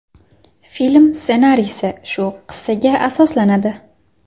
Film ssenariysi shu qissaga asoslanadi.